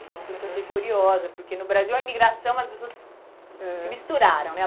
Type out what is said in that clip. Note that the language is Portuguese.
Aham. Foi uma coisa que eu achei curiosa, porque no Brasil a imigração, as pessoas, aham, se misturaram, né?